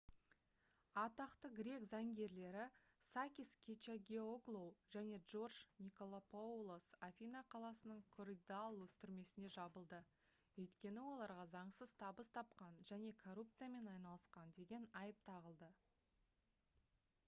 атақты грек заңгерлері сакис кечагиоглоу және джордж николакопоулос афина қаласының коридаллус түрмесіне жабылды өйткені оларға заңсыз табыс тапқан және коррупциямен айналысқан деген айып тағылды